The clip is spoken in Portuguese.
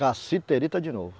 Cassiterita de novo.